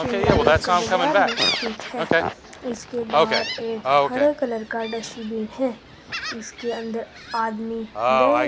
शिमला लक्कड़ बाज़ार में स्थित है। इसके बाहर एक हरे कलर का डस्टबिन है इसके अंदर आदमी गए --